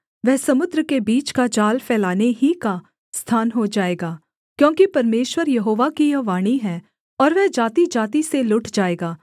वह समुद्र के बीच का जाल फैलाने ही का स्थान हो जाएगा क्योंकि परमेश्वर यहोवा की यह वाणी है और वह जातिजाति से लुट जाएगा